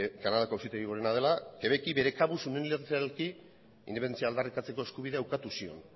kanadako auzitegi gorena dela quebeci bere kabuz unilateralki independentzia aldarrikatzeko eskubidea ukatu zion